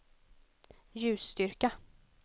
ljusstyrka